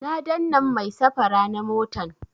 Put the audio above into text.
Na dannan mai safara na motan